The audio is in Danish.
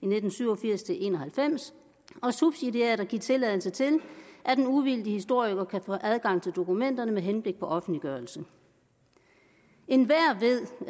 nitten syv og firs til en og halvfems og subsidiært at give tilladelse til at en uvildig historiker får adgang til dokumenterne med henblik på offentliggørelse enhver ved